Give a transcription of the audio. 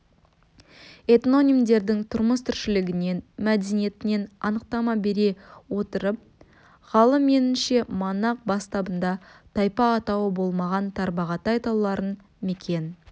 этнонимдердің тұрмыс-тіршілігінен мәдениетінен анықтама бере отырып ғалым меніңше манақ бастабында тайпа атауы болмаған тарбағатай тауларын мекен